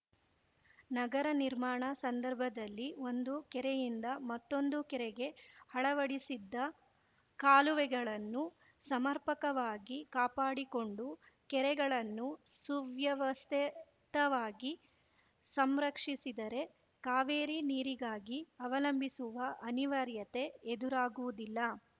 ನಗರ ನಿರ್ಮಾಣ ಸಂದರ್ಭದಲ್ಲಿ ಒಂದು ಕೆರೆಯಿಂದ ಮತ್ತೊಂದು ಕೆರೆಗೆ ಅಳವಡಿಸಿದ್ದ ಕಾಲುವೆಗಳನ್ನು ಸಮರ್ಪಕವಾಗಿ ಕಾಪಾಡಿಕೊಂಡು ಕೆರೆಗಳನ್ನು ಸುವ್ಯವಸ್ಥಿತವಾಗಿ ಸಂರಕ್ಷಿಸಿದರೆ ಕಾವೇರಿ ನೀರಿಗಾಗಿ ಅವಲಂಬಿಸುವ ಅನಿವಾರ್ಯತೆ ಎದುರಾಗುವುದಿಲ್ಲ